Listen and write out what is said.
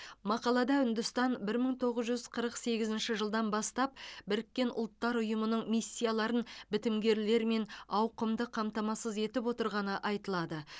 мақалада үндістан бір мың тоғыз жүз қырық сегізінші жылдан бастап біріккен ұлттар ұйымының миссияларын бітімгерлермен ауқымды қамтамасыз етіп отырғаны айтылады